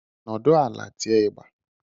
Nudu ala tie ịgba